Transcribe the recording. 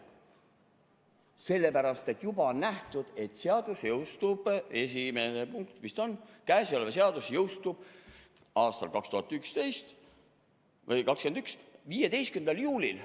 Sellepärast, et juba on nähtud, et seadus jõustub – esimene punkt või mis ta on – 2021. aasta 15. juulil.